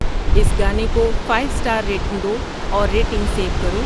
اس گانے کو five star rating دو اور ریٹنگ سیو کرو